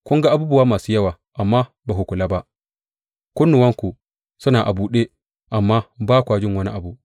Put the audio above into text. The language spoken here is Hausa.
Kun ga abubuwa masu yawa, amma ba ku kula ba; kunnuwanku suna a buɗe, amma ba kwa jin wani abu.